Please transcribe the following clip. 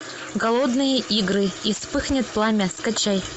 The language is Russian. голодные игры и вспыхнет пламя скачай